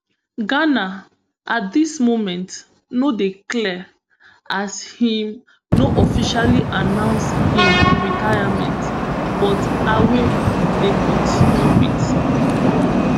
ghana at dis moment no dey clear as im no officially announce im retirement but ayew dey continue wit